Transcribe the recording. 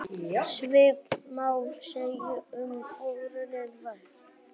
Svipað má segja um óhreinindi vatns.